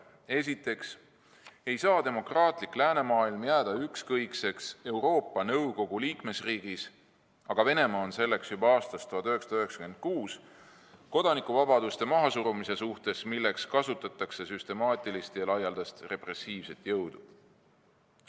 Esiteks ei saa demokraatlik läänemaailm jääda ükskõikseks Euroopa Nõukogu liikmesriigis – Venemaa on liige olnud juba aastast 1996 – kodanikuvabaduste mahasurumise suhtes, milleks kasutatakse süstemaatilist ja laialdast repressiivset jõudu.